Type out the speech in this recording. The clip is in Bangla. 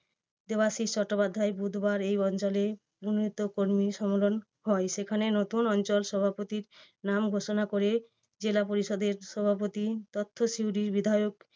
দেবাশীষ চট্টোপাধ্যায়। বুধবার এই অঞ্চলের মনোনীত কর্মী সম্মেলন হয় সেখানে নতুন অঞ্চল সভাপতির নাম ঘোষণা করে জেলা পরিষদের সভাপতি তথা সিউড়ির বিধায়ক